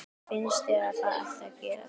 Finnst þér að það ætti að gerast?